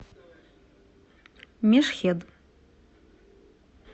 мешхед